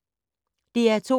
DR2